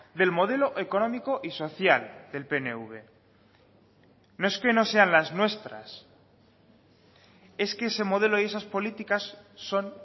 del modelo económico y social del pnv no es que no sean las nuestras es que ese modelo y esas políticas son